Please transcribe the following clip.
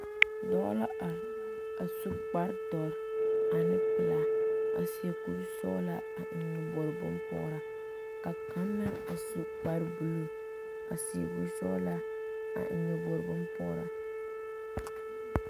Dɔɔ la are su kpare dɔre ane pelaa a seɛ kursɔglaa ane nyɔbogri bonpɔgraa ka kaŋ meŋ su kpar blue a seɛ kursɔglaa a eŋ nyɔbogi bonpɔgraa.